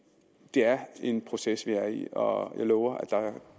er en proces vi er i og jeg lover